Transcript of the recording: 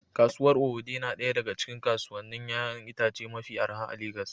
Kasuwar Owode na daya daga cikin kasuwannin 'ya'yan itace mafi arha a Legas